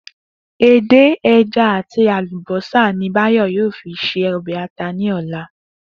Edé, e̩ja àti àlùbósà ni Báyò̩ yóò fi se o̩bè̩ ata ní ò̩la